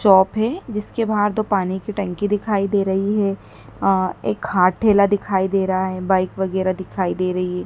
Shop है जिसके बाहर दो पानी की टंकी दिखाई दे रही है अह एक हाथ ठेला दिखाई दे रहा है बाइक वगैरा दिखाई दे रही है।